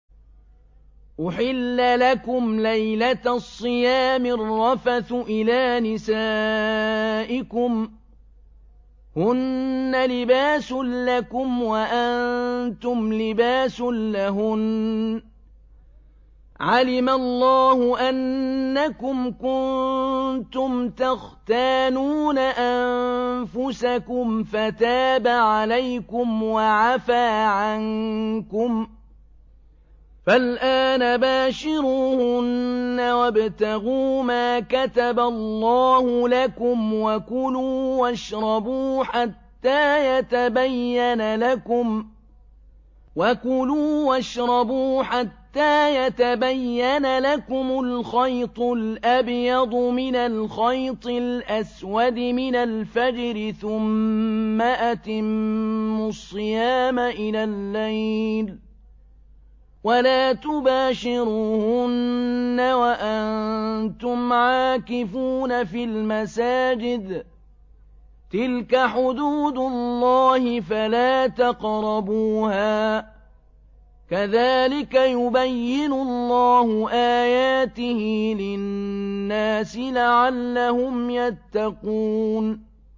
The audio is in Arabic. أُحِلَّ لَكُمْ لَيْلَةَ الصِّيَامِ الرَّفَثُ إِلَىٰ نِسَائِكُمْ ۚ هُنَّ لِبَاسٌ لَّكُمْ وَأَنتُمْ لِبَاسٌ لَّهُنَّ ۗ عَلِمَ اللَّهُ أَنَّكُمْ كُنتُمْ تَخْتَانُونَ أَنفُسَكُمْ فَتَابَ عَلَيْكُمْ وَعَفَا عَنكُمْ ۖ فَالْآنَ بَاشِرُوهُنَّ وَابْتَغُوا مَا كَتَبَ اللَّهُ لَكُمْ ۚ وَكُلُوا وَاشْرَبُوا حَتَّىٰ يَتَبَيَّنَ لَكُمُ الْخَيْطُ الْأَبْيَضُ مِنَ الْخَيْطِ الْأَسْوَدِ مِنَ الْفَجْرِ ۖ ثُمَّ أَتِمُّوا الصِّيَامَ إِلَى اللَّيْلِ ۚ وَلَا تُبَاشِرُوهُنَّ وَأَنتُمْ عَاكِفُونَ فِي الْمَسَاجِدِ ۗ تِلْكَ حُدُودُ اللَّهِ فَلَا تَقْرَبُوهَا ۗ كَذَٰلِكَ يُبَيِّنُ اللَّهُ آيَاتِهِ لِلنَّاسِ لَعَلَّهُمْ يَتَّقُونَ